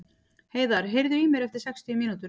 Heiðar, heyrðu í mér eftir sextíu mínútur.